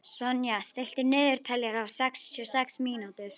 Sonja, stilltu niðurteljara á sextíu og sex mínútur.